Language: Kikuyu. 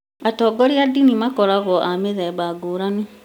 atongoria a ndini makoragwo a mĩthemba ngũrani